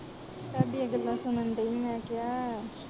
ਤਾਡੀਆ ਗੱਲਾਂ ਸੁਨਣ ਡਈ ਮੈ ਕੇਹਾ